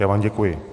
Já vám děkuji.